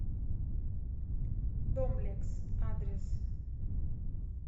домлекс адрес